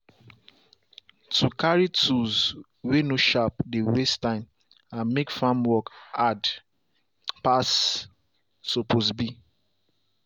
to carry tools way no sharp dey waste time and make farm work hard passe suppose be.